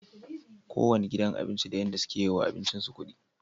kowanne gidan abinci da yadda suke yiwa abincin su kudi